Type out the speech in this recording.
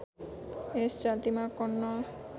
यस जातिमा कर्ण